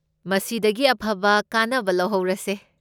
ꯃꯁꯤꯗꯒꯤ ꯑꯐꯕ ꯀꯥꯟꯅꯕ ꯂꯧꯍꯧꯔꯁꯦ꯫